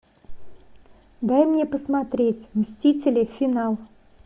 дай мне посмотреть мстители финал